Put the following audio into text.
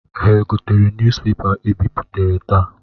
Ha egotere nuz pepa e bipụtara taa?